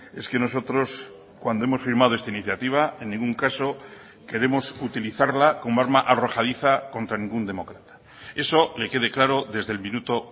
es que nosotros cuando hemos firmado esta iniciativa en ningún caso queremos utilizarla como arma arrojadiza contra ningún demócrata eso le quede claro desde el minuto